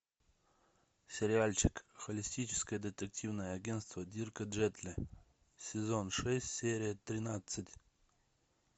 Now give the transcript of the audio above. сериальчик холистическое детективное агентство дирка джентли сезон шесть серия тринадцать